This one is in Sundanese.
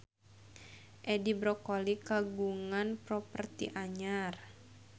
Edi Brokoli kagungan properti anyar